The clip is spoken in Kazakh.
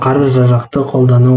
қару жарақты қолдану